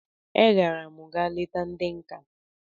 I gara'm ga leta ndi nka